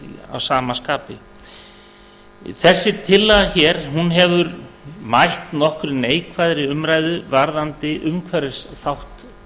að sama skapi þessi tillaga hér hefur mætt nokkuð neikvæðri umræðu varðandi umhverfisþátt